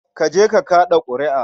Ka je ka kaɗa ƙuri'a.